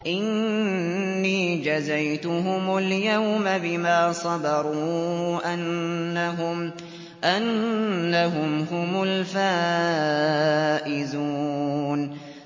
إِنِّي جَزَيْتُهُمُ الْيَوْمَ بِمَا صَبَرُوا أَنَّهُمْ هُمُ الْفَائِزُونَ